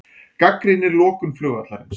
Gagnrýnir lokun flugvallarins